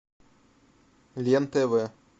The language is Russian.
лен тв